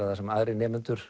það sem aðrir nemendur